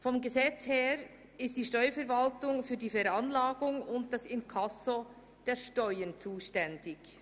Vom Gesetz her ist die Steuerverwaltung für die Veranlagung und das Inkasso der Steuern zuständig.